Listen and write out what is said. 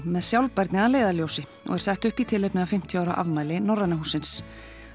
með sjálfbærni að leiðarljósi og er sett upp í tilefni af fimmtíu ára afmæli Norræna hússins